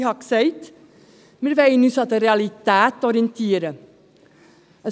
Ich habe gesagt, dass wir uns an den Realitäten orientieren wollen.